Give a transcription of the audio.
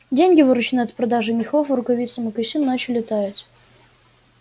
деньги вырученные от продажи мехов рукавиц и мокасин начали таять